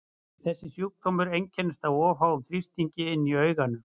Þessir sjúkdómar einkennast af of háum þrýstingi inni í auganu.